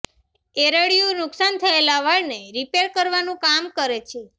એરળિયું નુકસાન થયેલા વાળ ને રિપેર કરવાનું કામ કરે છે